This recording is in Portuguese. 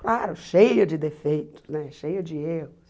Claro, cheia de defeitos né, cheia de erros.